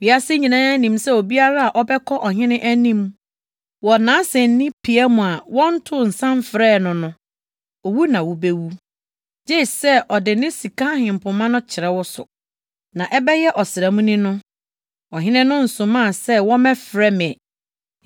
“Wiase nyinaa nim sɛ obiara a wobɛkɔ ɔhene anim wɔ nʼasennipia mu a wɔntoo nsa mfrɛɛ wo no, owu na wubewu, gye sɛ ɔde ne sika ahempema no kyerɛ wo so. Na ɛbɛyɛ ɔsram ni no, ɔhene no nsomaa sɛ wɔmmɛfrɛ me.”